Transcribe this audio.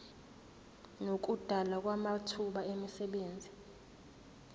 nokudalwa kwamathuba emisebenzi